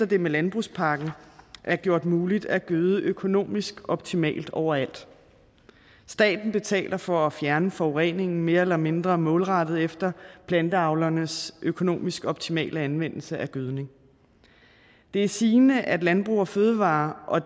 det med landbrugspakken er gjort muligt at gøde økonomisk optimalt overalt staten betaler for at fjerne forureningen mere eller mindre målrettet efter planteavlernes økonomisk optimale anvendelse af gødning det er sigende at landbrug fødevarer og